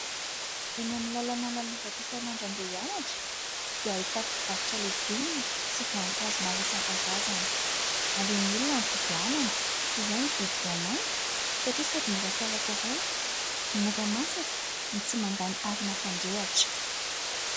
Eny amin'ny làlana lalovako isan'andro andeha hianatra, dia hahitako mpivarotra legioma sy voankazo maro isankarazany . Aleon'ny olona mividy anana toy izay mividy voamaina satria : sady mora karakaraina, mora masaka no tsy mandany arina fandrehatra .